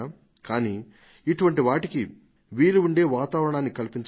కానీ ఇటువంటి వాటికి వీలు ఉండే వాతావరణాన్ని కల్పించవచ్చు